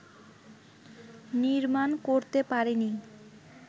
নির্মাণ করতে পারেনি